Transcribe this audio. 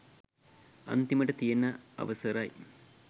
අන්තිමට තියන අවසරයි